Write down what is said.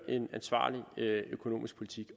en ansvarlig økonomisk politik